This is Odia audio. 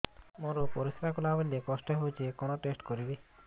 ମୋର ପରିସ୍ରା ଗଲାବେଳେ କଷ୍ଟ ହଉଚି କଣ ଟେଷ୍ଟ କରିବି